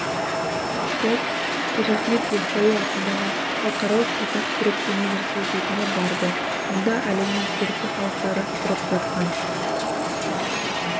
топ қожа ахмет ясауи атындағы халықаралық қазақ-түрік университетіне барды мұнда әлемнің түркі халықтары тұрып жатқан